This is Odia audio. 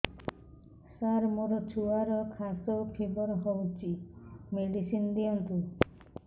ସାର ମୋର ଛୁଆର ଖାସ ଓ ଫିବର ହଉଚି ମେଡିସିନ ଦିଅନ୍ତୁ